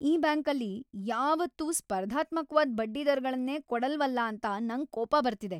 ಈ ಬ್ಯಾಂಕಲ್ಲಿ ಯಾವತ್ತೂ ಸ್ಪರ್ಧಾತ್ಮಕ್ವಾದ್ ಬಡ್ಡಿದರಗಳ್ನೇ ಕೊಡಲ್ವಲ್ಲ ಅಂತ ನಂಗ್ ಕೋಪ ಬರ್ತಿದೆ.